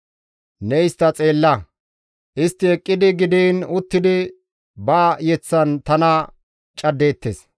Ne istta xeella! Istti eqqidi gidiin uttidi ba yeththan tana caddeettes.